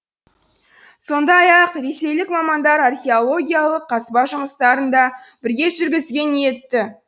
сондай ақ ресейлік мамандар археологиялық қазба жұмыстарын да бірге жүргізуге ниетті